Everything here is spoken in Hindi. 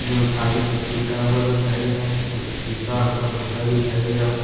जो आगे से टूटा हुआ दिखाई दे रहा है शीशा हल्का फूटा दिखाई दे रहा है।